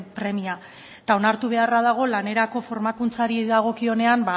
premia eta onartu beharra dago lanerako formakuntzari dagokionean